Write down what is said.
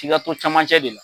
F'i kka to camancɛ de la.